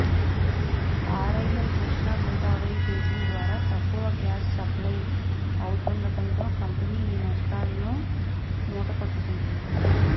RIL Krishna Godavari basin ద్వారా తక్కువ gas supply అవుతుండటంతో కంపెనీ ఈ నష్టాలను మూటకట్టుకుంది